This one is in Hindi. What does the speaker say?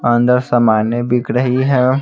अंदर सामाने बिक रही है।